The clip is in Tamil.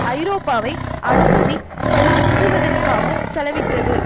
ஐரோப்பாவை அனுமதி படுவத்துவதற்காக செலவிட்டது